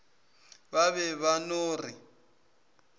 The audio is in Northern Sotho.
ba be ba no re